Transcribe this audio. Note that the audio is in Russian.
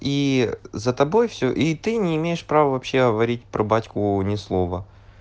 и за тобой все и ты не имеешь права вообще говорить про батьку ни слова